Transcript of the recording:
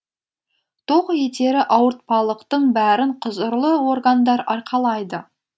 тоқ етері ауыртпалықтың бәрін құзырлы органдар арқалайды